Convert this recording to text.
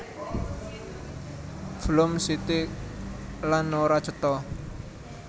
Floèm sithik lan ora cetha